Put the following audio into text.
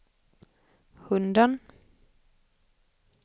hunden